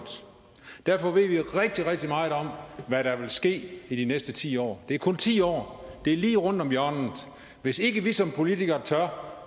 derfor ved vi rigtig rigtig meget om hvad der vil ske i de næste ti år det er kun ti år det er lige rundt om hjørnet hvis ikke vi som politikere tør